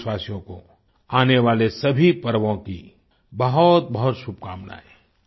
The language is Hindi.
सभी देशवासियों को आने वाले सभी पर्वों की बहुतबहुत शुभकामनायें